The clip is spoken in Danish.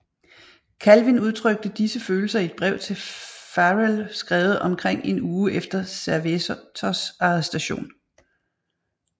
Calvin udtrykte disse følelser i et brev til Farel skrevet omkring en uge efter Servetos arrestation